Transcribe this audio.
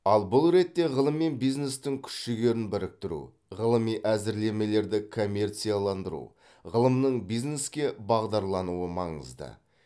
ал бұл ретте ғылым мен бизнестің күш жігерін біріктіру ғылыми әзірлемелерді коммерцияландыру ғылымның бизнеске бағдарлануы маңызды